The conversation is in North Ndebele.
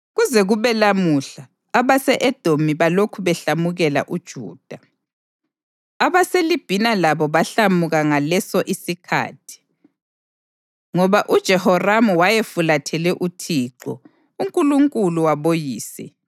Kuze kube lamhla abase-Edomi balokhu behlamukela uJuda. AbaseLibhina labo bahlamuka ngasolesi isikhathi, ngoba uJehoramu wayefulathele uThixo, uNkulunkulu waboyise.